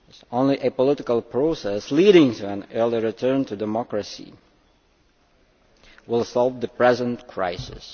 Only a political process leading to an early return to democracy will solve the present crisis.